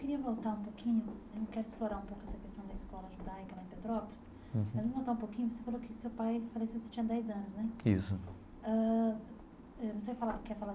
Eu queria voltar um pouquinho, eu não quero explorar um pouco essa questão da escola judaica na Petrópolis, mas eu vou voltar um pouquinho, você falou que seu pai faleceu quando você tinha dez anos, né? Isso. Ãh ãh você falar quer falar.